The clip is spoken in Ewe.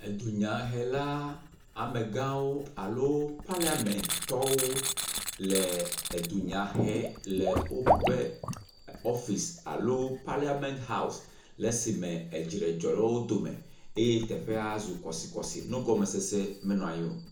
Edunyahela amegãwo alo paliamentɔwo le edunya hem le woƒe ɔfisi alo paliament haɔs le esime edzre dzɔ ɖe wo dome eye teƒea zu kɔsikɔsi nugɔmesese menɔ anyi o.